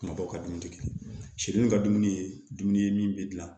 Kuma dɔw ka dumuni kɛ ka dumuni ye dumuni bɛ dilan